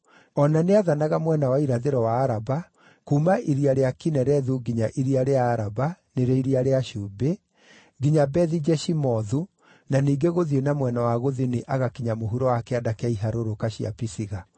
O na nĩathanaga mwena wa irathĩro wa Araba, kuuma Iria rĩa Kinerethu nginya iria rĩa Araba (nĩrĩo Iria rĩa Cumbĩ), nginya Bethi-Jeshimothu, na ningĩ gũthiĩ na mwena wa gũthini agakinya mũhuro wa kĩanda kĩa iharũrũka cia Pisiga.